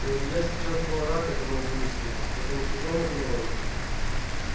но илья сейчас был рад этому буйству этому чужому гною